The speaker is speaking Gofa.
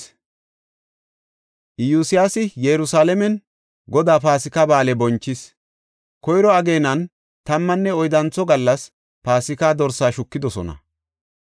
Iyosyaasi Yerusalaamen Godaa Paasika Ba7aale bonchis. Koyro ageenan tammanne oyddantho gallas Paasika dorsaa shukidosona.